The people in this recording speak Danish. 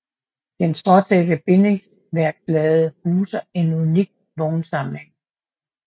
Den stråtækte bindingsværkslade huser en unik vognsamling